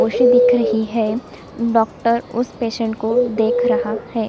ओसी दिख रही है डॉक्टर उस पेसेंट को देख रहा हैं।